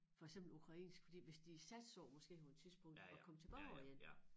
For eksempel ukrainsk fordi hvis de satser måske på et tidspunkt at komme tilbage igen